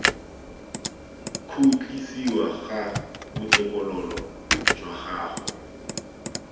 khutlisiwa ga botokololo jwa gago